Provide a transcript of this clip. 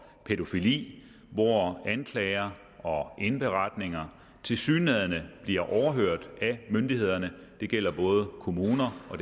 pædofili hvor anklager og indberetninger tilsyneladende bliver overhørt af myndighederne det gælder både kommunerne og